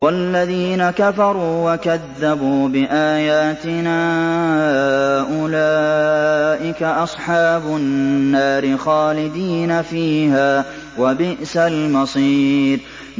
وَالَّذِينَ كَفَرُوا وَكَذَّبُوا بِآيَاتِنَا أُولَٰئِكَ أَصْحَابُ النَّارِ خَالِدِينَ فِيهَا ۖ وَبِئْسَ الْمَصِيرُ